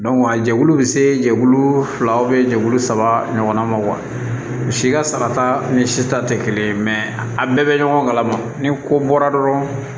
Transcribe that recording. a jɛkulu bɛ se jɛkulu fila jɛkulu saba ɲɔgɔnna ma si ka sara ta ni si ta tɛ kelen a bɛɛ bɛ ɲɔgɔn kalama ni ko bɔra dɔrɔn